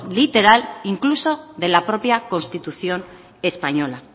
literal incluso de la propia constitución española